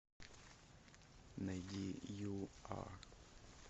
найди ю ар